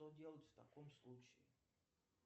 что делать в таком случае